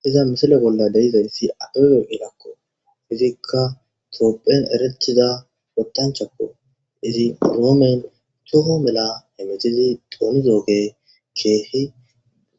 Hayisa misile bolla beizayisi abbebe bekela tophiyani erretida toho mellani woxizi zonidogeyi kehidi